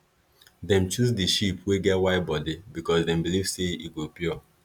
dem choose the sheep wey get white body because them believe say e go pure